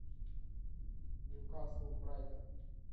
ньюкасл брайтон